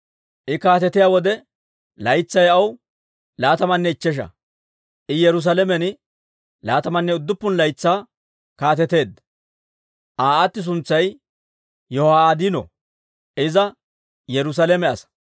I kaatetiyaa wode laytsay aw laatamanne ichchesha; I Yerusaalamen laatamanne udduppun laytsaa kaateteedda. Aa aati suntsay Yiho'aadino; iza Yerusaalame asaa.